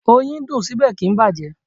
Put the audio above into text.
Oyin dùn, síbẹ̀ kì ń bàjẹ́.